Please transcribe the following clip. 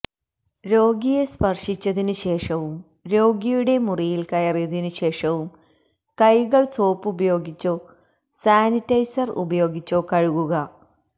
രോഗിയെ സ്പര്ശിച്ചതിനു ശേഷവും രോഗിയുടെ മുറിയില് കയറിയതിനു ശേഷവും കൈകള് സോപ്പുപയോഗിച്ചോ സാനിറ്റൈസര് ഉപയോഗിച്ചോ കഴുകുക